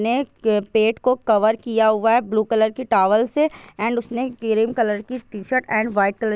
अपने पेट को कवर किया हुआ है ब्लू कलर की टावल से एण्ड उसने क्रीम कलर की टीशर्ट एण्ड व्हाइट कलर --